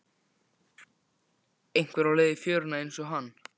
Einhver á leið í fjöruna einsog hann.